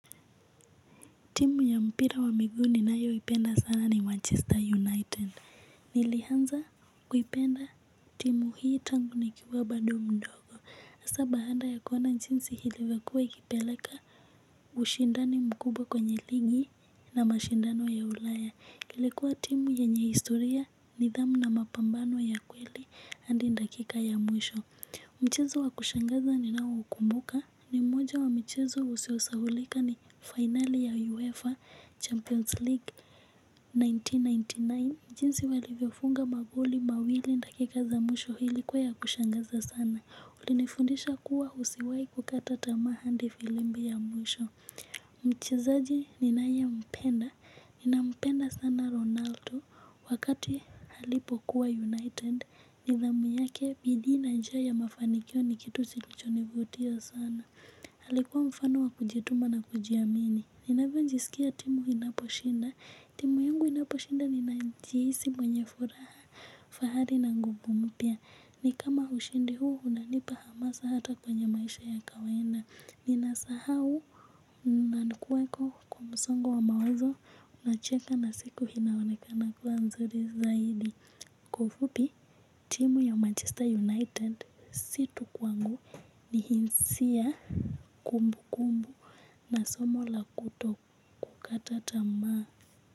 Timu ya mpira wa miguuninayo ipenda sana ni Manchester United. Nilianza kuipenda timu hii tangu ni kiwa bado mdogo. Asa baanda ya kuona chinsi ilivyokua ikipeleka ushindani mkubwa kwenye ligi na mashindano ya ulaya ilikua timu yenye historia ni dhamu na mapambano ya kweli handi ndakika ya mwisho. Mchezo wa kushangaza ni nao ukumbuka ni mmoja wa mchezo usiosahulika ni final ya UEFA Champions League elfu moja na mia tisa na tisini na tisa. Jinsi walivyofunga magoli mawili ndakika za mwisho ilikuwa ya kushangaza sana. Ulinifundisha kuwa usiwai kukata tamaa handi filimbi ya mwisho. Mchezaji ninaye mpenda nina mpenda sana Ronaldo wakati alipokuwa United. Nidhamu yake bidii na njia ya mafanikio ni kitu silichonivutia sana alikuwa mfano wa kujituma na kujiamini. Ninavyo njisikia timu inaposhinda. Timu yangu inaposhinda ni njihisi mwenye furaha fahari na nguvu mpya. Ni kama ushindi huu unanipa hamasa hata kwenye maisha ya kawainda. Ninasahau nani kuweko kwa msongo wa mawazo nacheka na siku inaoneka na kuwa mzuri zaidi. Kwa ufupi, timu ya Manchester United si tu kwangu ni hinsia kumbu kumbu na somo la kutokata tamaa.